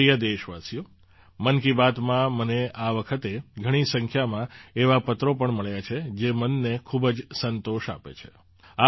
મારા પ્રિય દેશવાસીઓ મન કી બાતમાં મને આ વખતે ઘણી સંખ્યામાં એવા પત્રો પણ મળ્યા છે જે મનને ખૂબ જ સંતોષ આપે છે